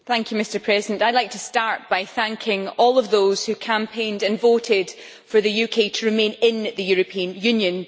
Mr President, I would like to start by thanking all of those who campaigned and voted for the UK to remain in the European Union.